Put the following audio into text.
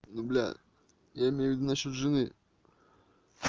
ну блядь я имею ввиду насчёт жены